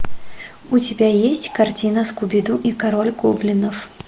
у тебя есть картина скуби ду и король гоблинов